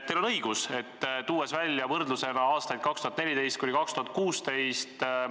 Teil on õigus, kui tõite võrdluseks aastaid 2014–2016.